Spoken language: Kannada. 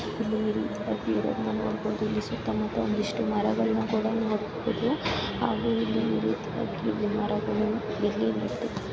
ಸುತ್ತ ಮುತ್ತ ಒಂದಿಷ್ಟು ಮರಗಳನ್ನ ಕೂಡ ನೋಡ್ಬೋದು ಹಾಗೆ ಇಲ್ಲಿ--